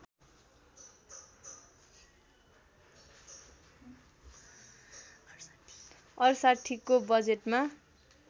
६८ को बजेटमा